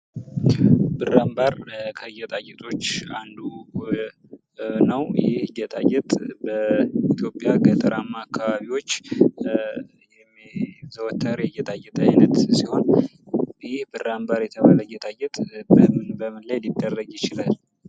ብራንባር ከጌጣጌጦች አንዱ ነው። ይህ ጌጣጌጥ በኢትዮጵያ ገጠራማ አካባቢዎች የሚዘወትር የጌጣጌጥ አይነት ሲሆን ፤ ይህ ብራንባር የተባለ ጌጣጌጥ በምን በምን ላይ ሊደረግ ይችላል?